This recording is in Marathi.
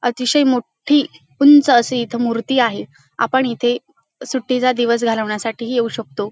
अतिशय मोट्ठी उंच अशी इथ मूर्ती आहे आपण येथे सुट्टीचा दिवस घालवण्यासाठी ही येऊ शकतो.